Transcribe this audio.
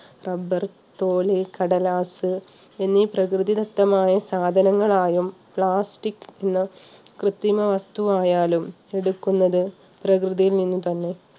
rubber, തോല്, കടലാസ് എന്ന പ്രകൃതിദത്തമായ സാധനങ്ങൾ ആയും പ്ലാസ്റ്റിക് എന്ന കൃത്രിമ വസ്തു ആയാലും എടുക്കുന്നത് പ്രകൃതിയിൽ നിന്നു തന്നെ